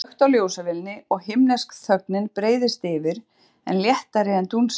Það er slökkt á ljósavélinni og himnesk þögnin breiðist yfir, enn léttari en dúnsængin.